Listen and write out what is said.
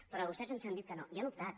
però vostès ens han dit que no i han optat